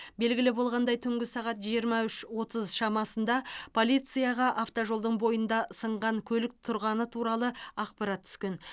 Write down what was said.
белгілі болғандай түнгі сағат жиырма үш отыз шамасында полицияға автожолдың бойында сынған көлік тұрғаны туралы ақпарат түскен